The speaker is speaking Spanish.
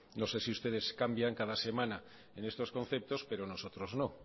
no sé si ustedes cambian cada semana en estos conceptos pero nosotros no